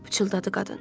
Pıçıltıdı qadın.